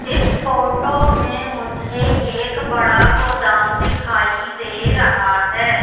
इस फोटो में मुझे एक बड़ा गोदाम दिखाई दे रहा हैं।